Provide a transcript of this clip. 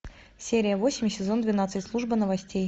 серия восемь сезон двенадцать служба новостей